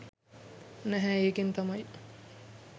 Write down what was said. නැහැ ඒකෙන් තමයි